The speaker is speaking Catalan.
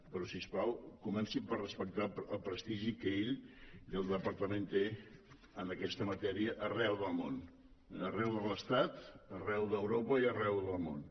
però si us plau comencin per respectar el prestigi que ell i el departament tenen en aquesta matèria arreu del món eh arreu de l’estat arreu d’europa i arreu del món